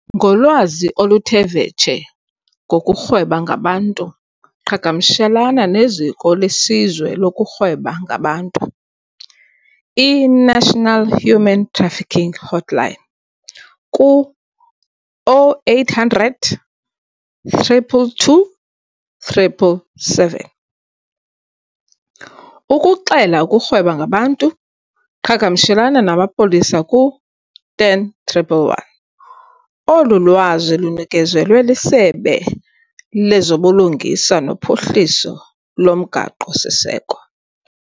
Ngolwazi oluthe vetshe ngokurhweba ngabantu qhagamshelana nezikolesizwe lokurhweba ngabantu, i-National Human Trafficking Hotline, ku- 0800 222 777. Ukuxela ukurhweba ngabantu qhagamshelana namapolisa ku- 10111. Olu lwazi lunikezelwe iSebe lezobuLungisa noPhuhliso loMgaqo-siseko.